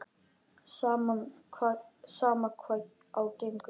Sama hvað á gengur.